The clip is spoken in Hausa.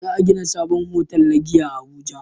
Za a gina sabon otal na giya a abuja